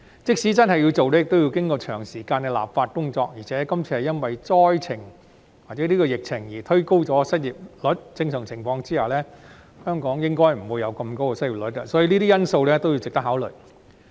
即使真的要推行，亦要經過長時間的立法工作，而且今次是因為疫情而推高失業率，在正常情況下，香港的失業率應該不會這麼高，所以這些因素均值得考慮。